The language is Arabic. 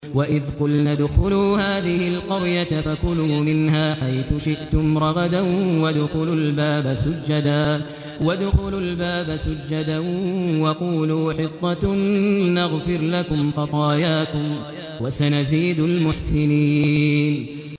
وَإِذْ قُلْنَا ادْخُلُوا هَٰذِهِ الْقَرْيَةَ فَكُلُوا مِنْهَا حَيْثُ شِئْتُمْ رَغَدًا وَادْخُلُوا الْبَابَ سُجَّدًا وَقُولُوا حِطَّةٌ نَّغْفِرْ لَكُمْ خَطَايَاكُمْ ۚ وَسَنَزِيدُ الْمُحْسِنِينَ